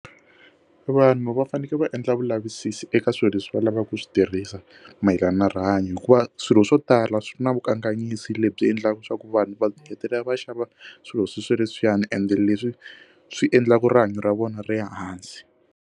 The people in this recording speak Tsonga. Vanhu va fanekele va endla vulavisisi eka swilo leswi va lava ku swi tirhisa mayelana na rihanyo hikuva swilo swo tala swi na vukanganyisi lebyi endlaka swa ku vanhu va hetelela va xava swilo swi swi ri swiyani ende leswi swi endlaka rihanyo ra vona ri hansi.